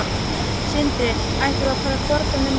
Sindri: Ættum við að fara að fordæmi Norðmanna?